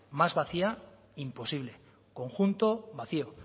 más vacía imposible conjunto vacío